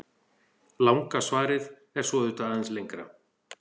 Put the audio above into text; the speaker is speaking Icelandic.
Langa svarið er svo auðvitað aðeins lengra.